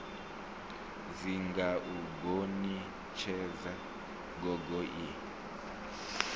dzinga u gonitshedza gogo ie